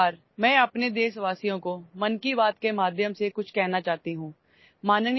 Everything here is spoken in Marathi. नमस्कार मन की बातच्या माध्यमातून मला माझ्या देशवासीयांना काही सांगायचे आहे